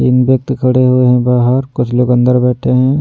तीन व्ययक्ति खड़े हुए है बाहर कुछ लोग अंदर बैठे है।